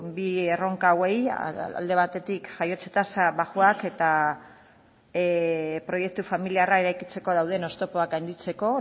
bi erronka hauei alde batetik jaiotze tasa baxuak eta proiektu familiarra eraikitzeko dauden oztopoak gainditzeko